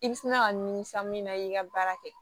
I bi sina ka nin san min na i ka baara kɛ